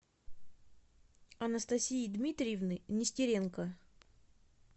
анастасии дмитриевны нестеренко